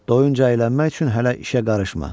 Doyunca əylənmək üçün hələ işə qarışma.